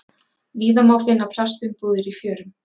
Víða má finna plastumbúðir í fjörum.